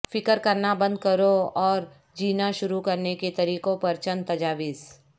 فکر کرنا بند کرو اور جینا شروع کرنے کے طریقوں پر چند تجاویز